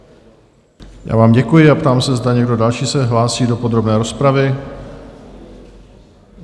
Já vám děkuji a ptám se, zda někdo další se hlásí do podrobné rozpravy?